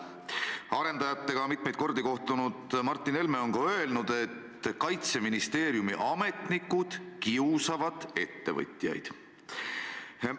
Arendajatega mitmeid kordi kohtunud Martin Helme on ka öelnud, et Kaitseministeeriumi ametnikud kiusavad ettevõtjaid.